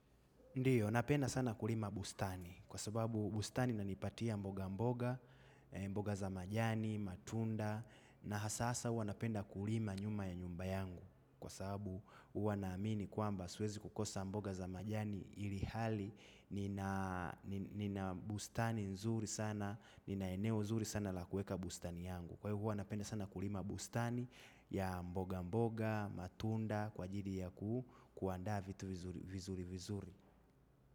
Ndiyo, napenda sana kulima bustani kwa sababu bustani inanipatia mboga mboga, mboga za majani, matunda na hasa huwa napenda kulima nyuma ya nyumba yangu kwa sababu huwa naamini kwamba siwezi kukosa mboga za majani ilihali nina. Nina bustani nzuri sana, nina eneo zuri sana la kuweka bustani yangu. Kwa hiyo huwa napenda sana kulima bustani ya mboga mboga, matunda, kwa ajili ya kuandaa vitu vizuri vizuri.